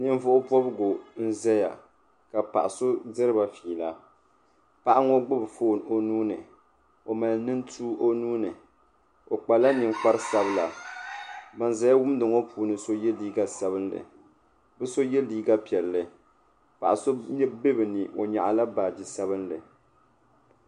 Ninvuɣu bobigu n zaya ka paɣaso diriba fiila paɣa ŋɔ gbubi poone o nuu ni o mali nintuu o nuuni kpala ninkpari sabila ban zaya wumdi ŋɔ puuni so ye liiga sabinli bɛ so ye liiga piɛlli paɣaso be bɛ ni o nyaɣila baagi sabinli.